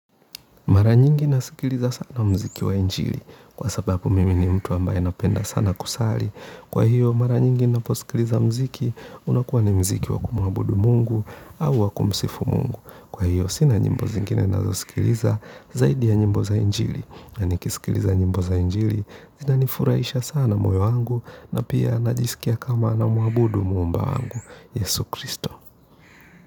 Mara nyingi nasikiliza sana muziki wa injili, kwa sababu mimi ni mtu ambaye napenda sana kusali. Kwa hiyo, mara nyingi ninaposikiliza muziki, unakuwa ni muziki wa kumwabudu Mungu, au wa kumsifu Mungu. Kwa hiyo, sina nyimbo nyingine ninazosikiliza, zaidi ya nyimbo za injili. Yaani kusikiliza nyimbo za injili, zinanifurahisha sana moyo wangu, na pia najisikia kama namwabudu Muumba wangu, Yesu Kristo.